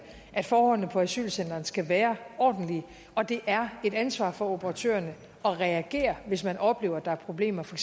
at forholdene på asylcentrene skal være ordentlige og det er et ansvar for operatørerne at reagere hvis man oplever at der er problemer for